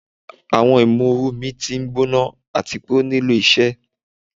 Awọn imooru mi ti ngbona ati pe o nilo iṣẹ